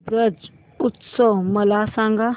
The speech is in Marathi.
ब्रज उत्सव मला सांग